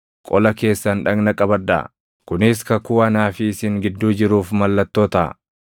Qola keessan dhagna qabadhaa; kunis kakuu anaa fi isin gidduu jiruuf mallattoo taʼa.